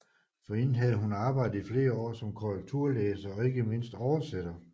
Forinden havde hun arbejdet i flere år som korrekturlæser og ikke mindst oversætter